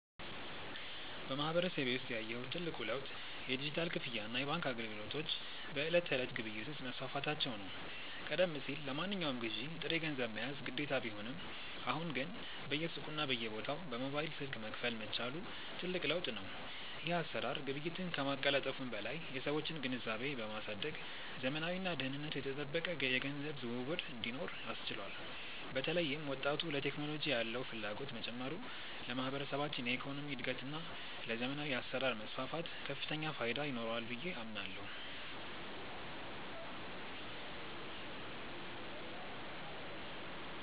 በማህበረሰቤ ውስጥ ያየሁት ትልቁ ለውጥ የዲጂታል ክፍያና የባንክ አገልግሎቶች በዕለት ተዕለት ግብይት ውስጥ መስፋፋታቸው ነው። ቀደም ሲል ለማንኛውም ግዢ ጥሬ ገንዘብ መያዝ ግዴታ ቢሆንም፣ አሁን ግን በየሱቁና በየቦታው በሞባይል ስልክ መክፈል መቻሉ ትልቅ ለውጥ ነው። ይህ አሰራር ግብይትን ከማቀላጠፉም በላይ የሰዎችን ግንዛቤ በማሳደግ ዘመናዊና ደህንነቱ የተጠበቀ የገንዘብ ዝውውር እንዲኖር አስችሏል። በተለይም ወጣቱ ለቴክኖሎጂ ያለው ፍላጎት መጨመሩ ለማህበረሰባችን የኢኮኖሚ እድገትና ለዘመናዊ አሰራር መስፋፋት ከፍተኛ ፋይዳ ይኖረዋል ብዬ አምናለሁ።